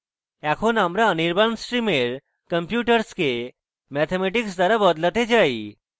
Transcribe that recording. এখন আমরা anirban stream computers কে mathematics দ্বারা বদলাতে চাই